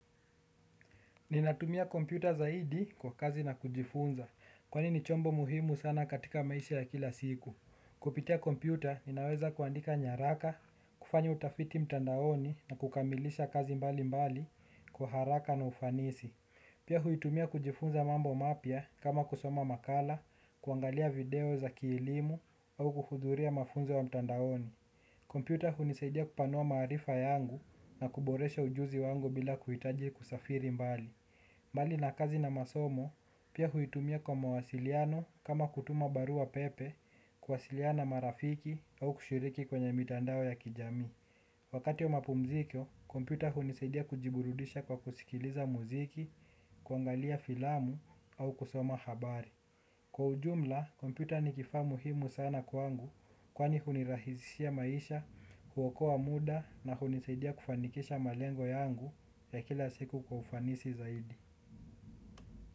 Ninatumia kompyuta zaidi kwa kazi na kujifunza, kwanini chombo muhimu sana katika maisha ya kila siku. Kupitia kompyuta, ninaweza kuandika nyaraka, kufanya utafiti mtandaoni na kukamilisha kazi mbali mbali kwa haraka na ufanisi. Pia huitumia kujifunza mambo mapia kama kusoma makala, kuangalia video za kielimu au kuhuduria mafunzo wa mtandaoni. Kompyuta huniseidia kupanua marifa yangu na kuboresha ujuzi wangu bila kuitaji kusafiri mbali. Mbali na kazi na masomo, pia huitumia kwa mawasiliano kama kutuma barua pepe kwasiliana marafiki au kushiriki kwenye mitandao ya kijami. Wakati wa mapumzikyo, kompyuta huniseidia kujiburudisha kwa kusikiliza muziki, kwangalia filamu au kusoma habari. Kwa ujumla, kompyuta ni kifa muhimu sana kwangu kwani hunirahizishia maisha, huwokoa muda na huniseidia kufanikisha malengo yangu ya kila siku kwa ufanisi zaidi.